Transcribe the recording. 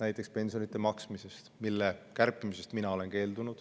näiteks pensionide maksmiseks, mille kärpimisest mina olen keeldunud.